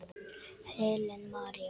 Helen María.